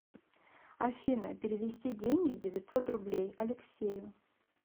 афина перевести деньги девятьсот рублей алексею